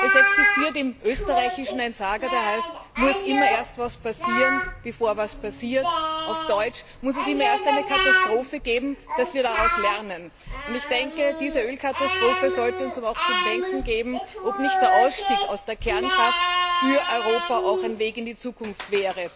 Es existiert im Österreichischen ein Sager, der heißt Muss immer erst was passieren, bevor was passiert? Auf Deutsch Muss es immer erst eine Katastrophe geben, bevor wir daraus lernen? Diese Ölkatastrophe sollte uns aber zu denken geben, ob nicht auch der Ausstieg aus der Kernkraft für Europa ein Weg in die Zukunft wäre.